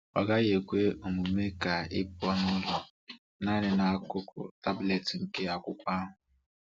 Ọ gaghị ekwe omume ka ịpụ n’ụlọ naanị na akụkụ taablet nke akwụkwọ ahụ.